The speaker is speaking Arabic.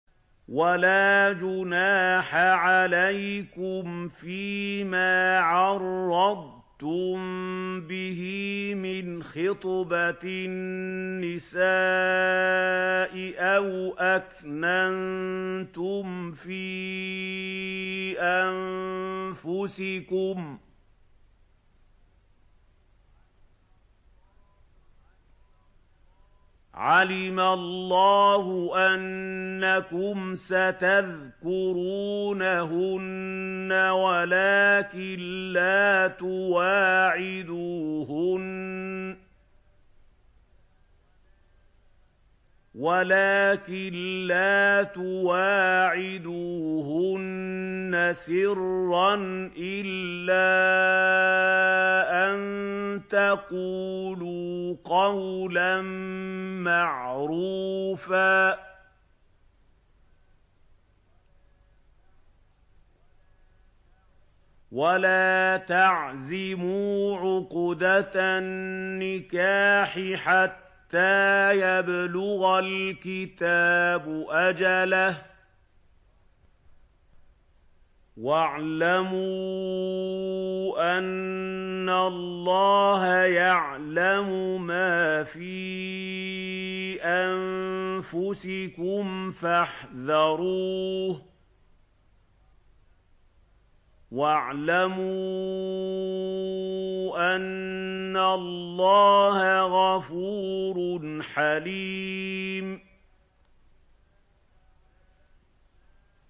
وَلَا جُنَاحَ عَلَيْكُمْ فِيمَا عَرَّضْتُم بِهِ مِنْ خِطْبَةِ النِّسَاءِ أَوْ أَكْنَنتُمْ فِي أَنفُسِكُمْ ۚ عَلِمَ اللَّهُ أَنَّكُمْ سَتَذْكُرُونَهُنَّ وَلَٰكِن لَّا تُوَاعِدُوهُنَّ سِرًّا إِلَّا أَن تَقُولُوا قَوْلًا مَّعْرُوفًا ۚ وَلَا تَعْزِمُوا عُقْدَةَ النِّكَاحِ حَتَّىٰ يَبْلُغَ الْكِتَابُ أَجَلَهُ ۚ وَاعْلَمُوا أَنَّ اللَّهَ يَعْلَمُ مَا فِي أَنفُسِكُمْ فَاحْذَرُوهُ ۚ وَاعْلَمُوا أَنَّ اللَّهَ غَفُورٌ حَلِيمٌ